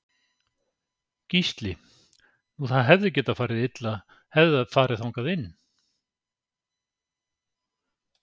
Gísli: Nú það hefði getað farið illa hefði það farið þangað inn?